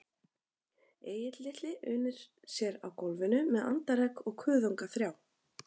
Egill litli unir sér á gólfinu með andaregg og kuðunga þrjá